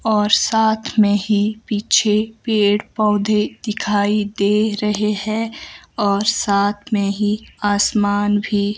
और साथ में ही पीछे पेड़ पौधे दिखाई दे रहे हैं और साथ में ही आसमान भी--